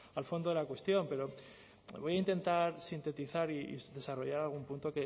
al fondo de la cuestión pero voy a intentar sintetizar y desarrollar algún punto